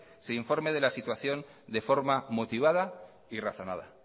se informe de la situación de forma motivada y razonada